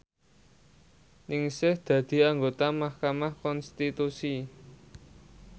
Ningsih dadi anggota mahkamah konstitusi